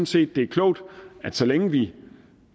set det er klogt så længe vi